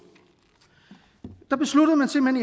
der besluttede man simpelt